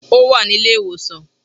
Ó wà ní ilé ìwòsàn